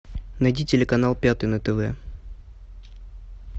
найди телеканал пятый на тв